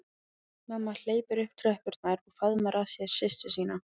Mamma hleypur upp tröppurnar og faðmar að sér systur sína.